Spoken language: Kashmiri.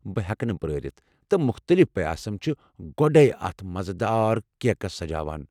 بہٕ ہیٚکہٕ نہٕ پرٲرِتھ، تہٕ مختٔلِف پیاسم چھِ گۄڈیہ اتھ مزٕدار کیکَس سجاوان۔